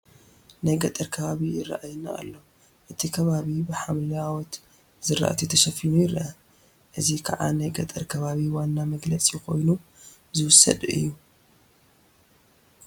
ናይ ገጠር ከባቢ ይርአየና ኣሎ፡፡ እቲ ከባቢ ብሓምለዎት ዝራእቲ ተሸፊኑ ይርአ፡፡ እዚ ከዓ ናይ ገጠር ከባቢ ዋና መግለፂ ኮይኑ ዝውሰድ እዩ፡፡